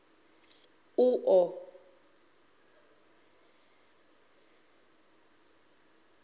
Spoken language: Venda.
uḓo